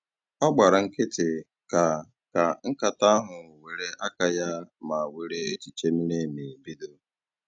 Ọ gbara nkịtị, ka ka nkata ahụ were aka ya ma were echiche miri emi bido